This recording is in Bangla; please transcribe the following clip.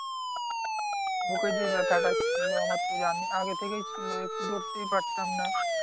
বুকে যেই ব্যাথাটা ছিল আমার তুই জানিস আগে থেকেই ছিল একটু দৌড়তেই পারতাম না।